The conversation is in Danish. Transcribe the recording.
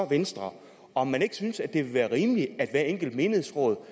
venstre om man ikke synes at det vil være rimeligt at hvert enkelt menighedsråd